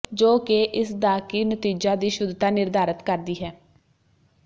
ਜੋ ਕਿ ਇਸ ਦਾ ਕੀ ਨਤੀਜਾ ਦੀ ਸ਼ੁੱਧਤਾ ਨਿਰਧਾਰਤ ਕਰਦੀ ਹੈ ਹੈ